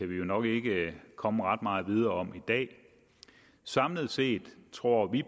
vi jo nok ikke komme ret meget videre i dag samlet set tror vi